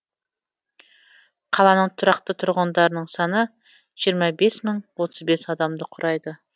қаланың тұрақты тұрғындарының саны жиырма бес мың отыз бес адамды құрайды